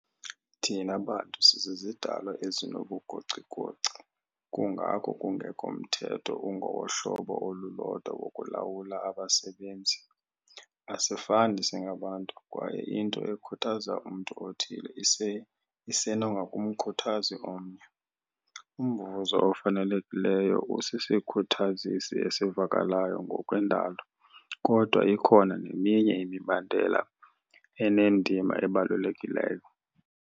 Thina bantu sizizidalwa ezinobugocigoci, kungako kungekho mthetho ungowohlobo olulodwa wokulawula abasebenzi. Asifani singabantu, kwaye into ekhuthaza umntu othile isenokungamkhuthazi omnye. Umvuzo ofanelekileyo usisikhuthazisi esivakalayo ngokwendalo, kodwa ikhona neminye imibandela enendima ebalulekileyo.